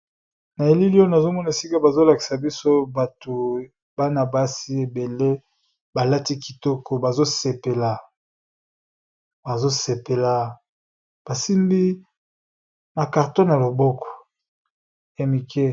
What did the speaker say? Na elili oyo, nazo mona esika bazo lakisa biso bato bana basi ébélé ba lati kitoko bazo sepela . Ba simbi na carton ya loboko ya mike .